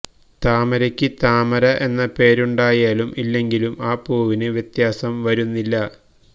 താമരയ്ക്ക് താമര എന്ന പേരുണ്ടായാലും ഇല്ലെങ്കിലും ആ പൂവിന് വ്യത്യാസം വരുന്നില്ല